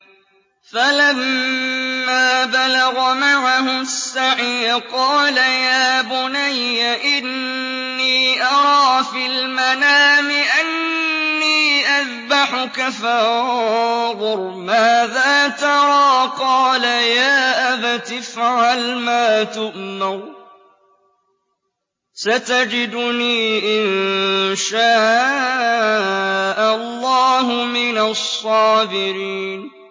فَلَمَّا بَلَغَ مَعَهُ السَّعْيَ قَالَ يَا بُنَيَّ إِنِّي أَرَىٰ فِي الْمَنَامِ أَنِّي أَذْبَحُكَ فَانظُرْ مَاذَا تَرَىٰ ۚ قَالَ يَا أَبَتِ افْعَلْ مَا تُؤْمَرُ ۖ سَتَجِدُنِي إِن شَاءَ اللَّهُ مِنَ الصَّابِرِينَ